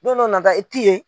Don dɔ nata i t'i yen.